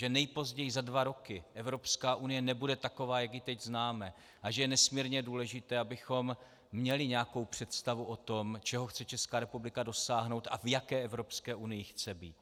Že nejpozději za dva roky Evropská unie nebude taková, jak ji teď známe, a že je nesmírně důležité, abychom měli nějakou představu o tom, čeho chce Česká republika dosáhnout a v jaké Evropské unii chce být.